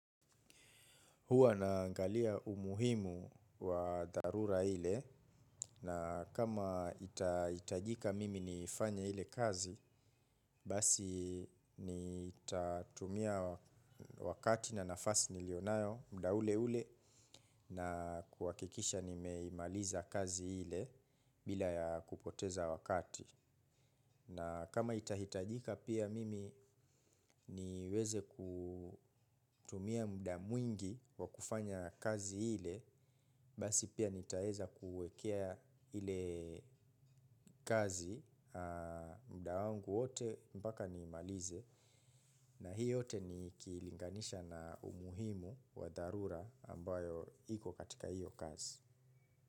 Huwa naangalia umuhimu wa darura hile na kama itajika mimi nifanye hile kazi basi nitatumia wakati na nafasi nilionayo mda ule ule na kuwakikisha nimeimaliza kazi hile bila ya kupoteza wakati. Na kama itahitajika pia mimi niweze kutumia mda mwingi wa kufanya kazi hile, basi pia nitaeza kuwekea hile kazi mda wangu wote mbaka ni malize na hiyo hote ni kilinganisha na umuhimu wa darura ambayo hiko katika hiyo kazi.